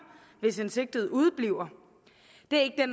hvis en sigtet udebliver det er